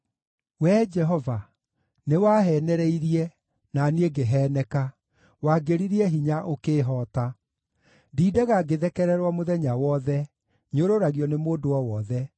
Wee Jehova, nĩwaheenereirie, na niĩ ngĩheeneka, wangĩririe hinya ũkĩĩhoota. Ndindaga ngĩthekererwo mũthenya wothe; nyũrũragio nĩ mũndũ o wothe.